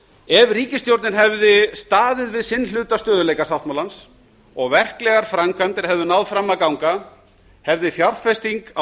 ef ríkisstjórnin hefði staðið við sinn hluta stöðugleikasáttmálans og verklegar framkvæmdir hefðu náð fram að ganga hefði fjárfesting á